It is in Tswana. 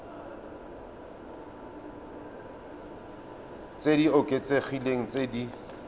tse di oketsegileng tse di